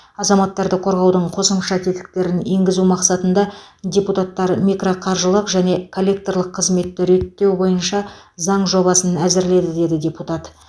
азаматтарды қорғаудың қосымша тетіктерін енгізу мақсатында депутаттар микроқаржылық және коллекторлық қызметті реттеу бойынша заң жобасын әзірледі деді депутат